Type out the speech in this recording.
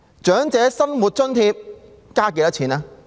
長者生活津貼增加了多少？